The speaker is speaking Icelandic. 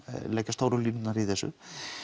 leggja stóru línurnar í þessu